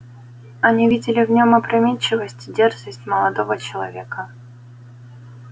они видели в нем опрометчивость и дерзость молодого человека